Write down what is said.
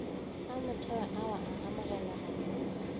a motheo ao a amogelegago